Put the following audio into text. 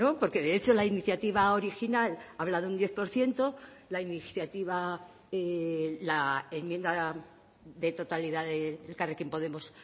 porque de hecho la iniciativa original habla de un diez por ciento la iniciativa la enmienda de totalidad de elkarrekin podemos